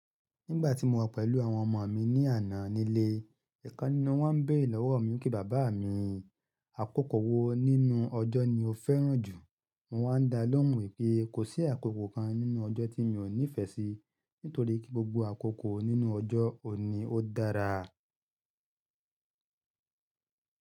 Nígbà tí mo wà pẹ̀lú àwọn ọmọ mi ní àná nílé, ẹ̀kan nínú wọn bẹ̀rẹ̀ lọ́wọ́ mi kí bàbá mi, "àkókò wo nínú ọjọ́ ni o fẹ́ràn jù?" Mo wá ń da lóhùn wípé kò sí àkókò kan nínú ọjọ́ tí èmi ò níìfẹ̀ sí, nítorí kí gbogbo àkókò nínú ọjọ́ ò n ní ó dára.